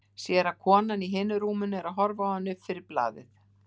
Sér að konan í hinu rúminu er að horfa á hann upp fyrir blaðið.